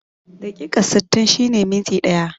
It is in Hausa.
Dakika sittin shine minti ɗaya